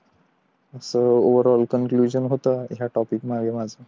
so over all conclusion होत या topic माझं